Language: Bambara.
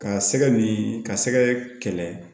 Ka sɛgɛ nin ka sɛgɛ kɛlɛ